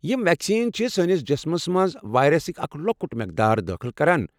یم ویکسیٖن چھ سٲنس جسمس منٛز وایرسُك اکھ لۄکُٹ میقدار دٲخل کران۔